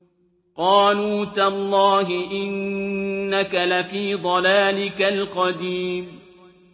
قَالُوا تَاللَّهِ إِنَّكَ لَفِي ضَلَالِكَ الْقَدِيمِ